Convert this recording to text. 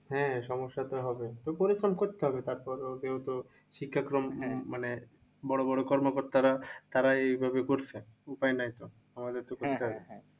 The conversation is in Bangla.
হ্যাঁ সমস্যা তো হবেই তো পরে ফোন করতে হবে তারপর যেহেতু শিক্ষাক্রম মানে বড়ো বড়ো কর্মকর্তারা তারা এই ভাবে করছে। উপায় নাই তো আমাদের তো করতে হবে।